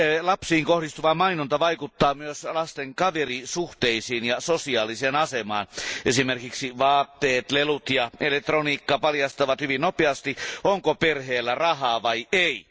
Lapsiin kohdistuva mainonta vaikuttaa myös lasten kaverisuhteisiin ja sosiaaliseen asemaan, esimerkiksi vaatteet, lelut ja elektroniikka paljastavat hyvin nopeasti, onko perheellä rahaa vai ei.